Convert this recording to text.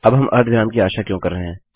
अब हम अर्धविराम की आशा क्यों कर रहे हैं